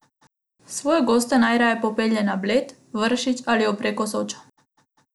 Svoje goste najraje popelje na Bled, Vršič ali ob reko Sočo.